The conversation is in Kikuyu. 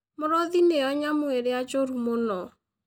Mũrũthi nĩyo nyamũ ĩrĩa njũru mũno.